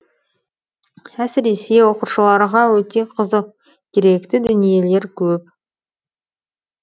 әсіресе оқушыларға өте қызық керекті дүниелер көп